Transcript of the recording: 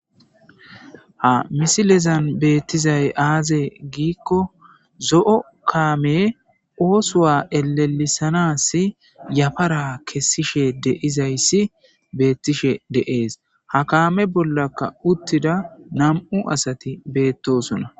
ha misilezan beettizay aaze giikko zo7o kaame oosuwa elelisanas yafara kessishe deizayssi beettishe deees ha kaame bollaka uttida nam7u asati beettosona